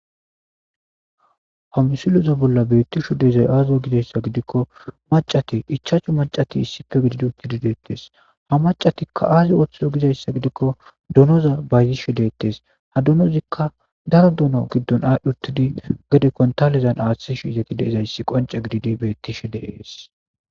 Ha missileza bolla bettishe diizay aaze gizsyssa giidikko maccati ichchashu maccati issippe giididi uttidi bettes ha maccati aazi oththizo gizayssa giidikko doonoza bayizishe dettes ha doonozikka daaro doono giddon adhdhi uttidi geede konttalezan aaththishe deizayssi qoncce gididi bettes.